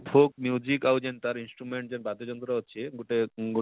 folk ଆଉ ଜେନ instrument ଜେନ ତାର ବାଦ୍ୟ ଯନ୍ତ୍ର ଅଛି ଗୋଟେ